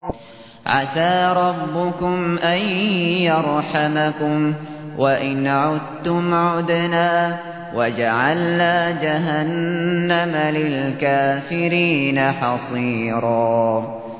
عَسَىٰ رَبُّكُمْ أَن يَرْحَمَكُمْ ۚ وَإِنْ عُدتُّمْ عُدْنَا ۘ وَجَعَلْنَا جَهَنَّمَ لِلْكَافِرِينَ حَصِيرًا